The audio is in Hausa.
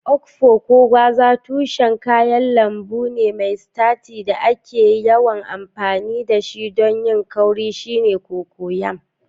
Okpor: Ko gwaza, tushen kayan lambu ne mai sitaci da ake yawan amfani da shi don yin kauri shine cocoyam.